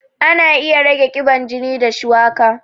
Ana iya rage ƙiban jini da shuwaka